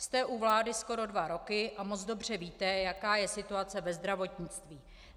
Jste u vlády skoro dva roky a moc dobře víte, jaká je situace ve zdravotnictví.